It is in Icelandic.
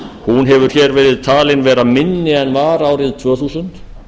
hún hefur verið talin vera minni en var árið tvö þúsund